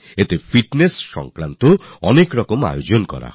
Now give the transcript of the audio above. এতে ফিটনেস নিয়ে অনেক ধরণের আয়োজন করা হবে